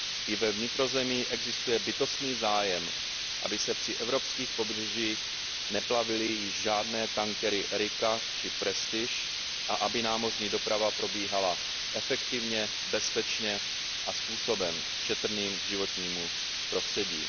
I ve vnitrozemí existuje bytostný zájem, aby se při evropských pobřežích neplavily již žádné tankery Erika či Prestige a aby námořní doprava probíhala efektivně, bezpečně a způsobem šetrným k životnímu prostředí.